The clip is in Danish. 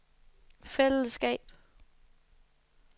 fællesskab